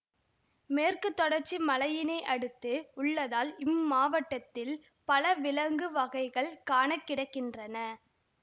மேற்கு தொடர்ச்சி மலையினை அடுத்து உள்ளதால் இம்மாவட்டத்தில் பல விலங்கு வகைகள் காணக்கிடைக்கின்றன